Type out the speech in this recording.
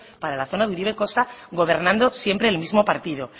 para la zona de uribe kosta gobernando siempre el mismo partido